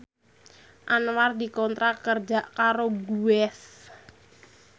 Anwar dikontrak kerja karo Guess